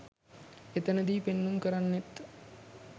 එතනදී පෙන්නුම් කරන්නෙත්